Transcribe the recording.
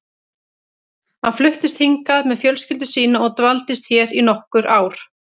Hann fluttist hingað með fjölskyldu sína og dvaldist hér í nokkur ár.